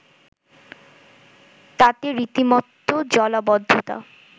তাতে রীতিমত জলাবদ্ধতা